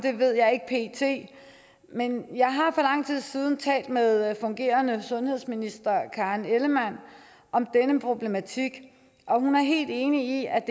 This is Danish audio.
ved jeg ikke pt men jeg har for lang tid siden talt med fungerende sundhedsminister karen ellemann om denne problematik og hun er helt enig i at